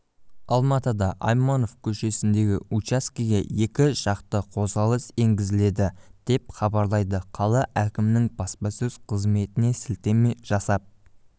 алматыда айманов көшесіндегі учаскеге екі жақты қозғалыс енгізіледі деп хабарлайды қала әкімінің баспасөз қызметіне сілтеме жасап